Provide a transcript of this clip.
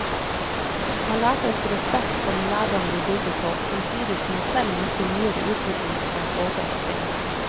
Han lærte oss respekt for den lærdom vi bygger på, samtidig som han selv møtte nyere utvikling med et åpent sinn.